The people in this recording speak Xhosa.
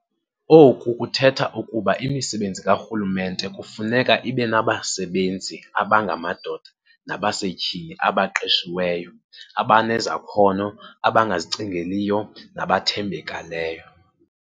Oku kuthetha ukuba imisebenzi karhulumente kufuneka ibenabasebenzi abangamadoda nabasetyhini abaqeshiweyo, abanezakhono, abangazicingeliyo nabathembakeleyo.